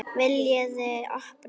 VILJIÐI OPNA!